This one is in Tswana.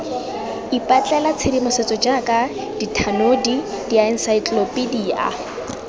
ipatlela tshedimosetso jaaka dithanodi diensaetlelopedia